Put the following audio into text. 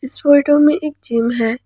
इस फोटो में एक जिम है।